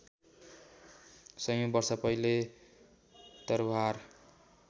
सयौँ वर्ष पहिले तरवार